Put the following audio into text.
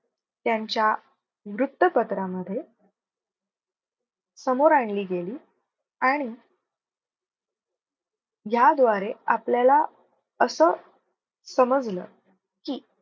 त्यांच्या वृत्तपत्रामध्ये समोर आणली गेली आणि ह्या द्वारे आपल्याला असं समजलं की,